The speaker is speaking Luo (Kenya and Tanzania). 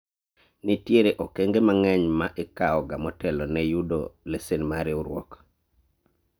nitiere okenge mang'eny ma ikawo ga motelo ne yudo lesen mar riwruok